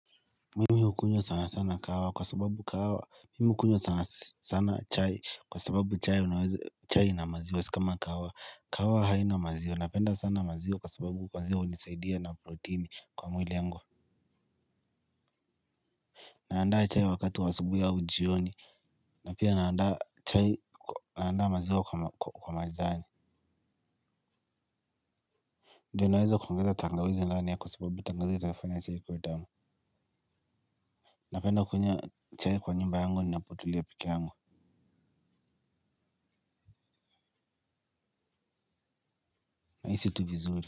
Mimi hukunywa sana sana kahawa kwa sababu kahawa mimi hukunywa sana sana chai kwa sababu chai ina maziwa si kama kahawa kahawa haina maziwa napenda sana maziwa kwa sababu maziwa hunisaidia na protini kwa mwili yangu. Naandaa chai wakati wa asubuhi au jioni na pia naandaa chai naandaa maziwa kwa majani. Ndiyo naweza kuongeza tangawizi ndani ya kwa sababu tangawizi itafanya chai kuwa tamu. Napenda kunywa chai kwa nyumba yangu ninapotulia peke yangu na hisi tu vizuri.